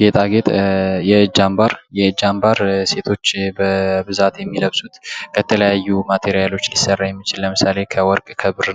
ጌጣጌጥ የእጅ አምባር ሴቶች በብዛት የሚለብሱት የተለያዩ ማቴርያል ሊሰራ የሚችል ለምሳሌ ከወርቅ ከብር